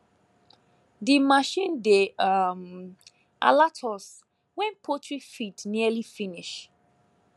the machine dey um alert us wen poultry feed nearly finish